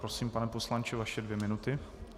Prosím, pane poslanče, vaše dvě minuty.